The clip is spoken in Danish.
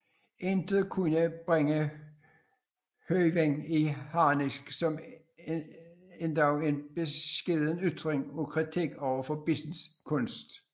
Intet kunne bringe Høyen i harnisk som endog en beskeden ytring af kritik over Bissens kunst